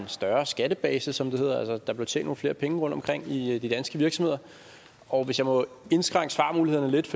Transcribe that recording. større skattebase som det hedder altså at der blev tjent nogle flere penge rundtomkring i de danske virksomheder og hvis jeg må indskrænke svarmulighederne lidt